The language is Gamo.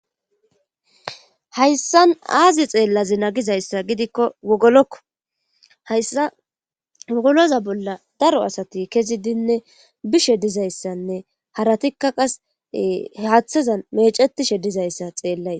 Hayssan aazi xeellazi nagizayssa gidikko wogolokko hayssa wogoloza bolla daro asati kezi dinne bishe dizayssanne haratikka qas haaththazan mecetishe dizayssa xeellay.